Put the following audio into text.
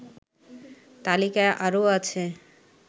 তালিকায় আরও আছে